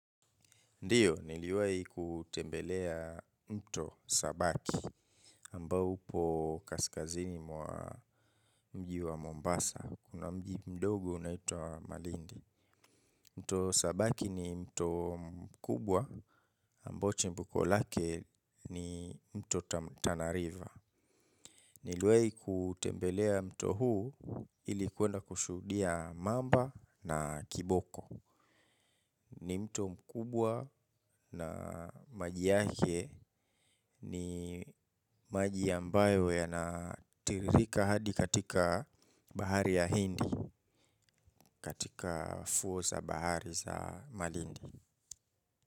Ndio, niliwai kutembelea mto sabaki ambao upo kaskazini mwa mji wa Mombasa. Kuna mji mdogo unaitwa Malindi. Mto sabaki ni mto mkubwa ambao chembuko lake ni mto tanariva. Niliwai kutembelea mto huu ili kuenda kushudia mamba na kiboko. Ni mto mkubwa na maji yake ni maji ambayo yanatiririka hadi katika bahari ya hindi katika fuo za bahari za malindi.